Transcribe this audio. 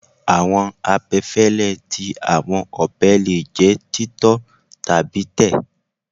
Awọn abẹfẹlẹ ti awọn ọbẹ le jẹ titọ tabi tẹ